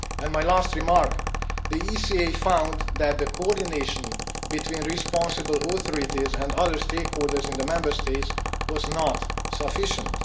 My last remark the ECA found that the coordination between responsible authorities and other stakeholders in the Member States was not sufficient